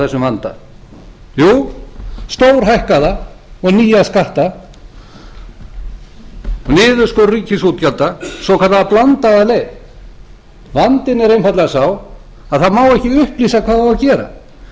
þessum vanda jú stórhækkaða og nýja skatta niðurskurð ríkisútgjalda svokallaða blandaða leið vandinn er einfaldlega sá að það má ekki upplýsa hvað á að gera